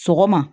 Sɔgɔma